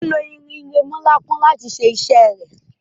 o lo orin iremolekun lati ṣe ifiranṣẹ rẹ